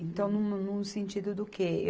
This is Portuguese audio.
Então, no, no sentido do quê?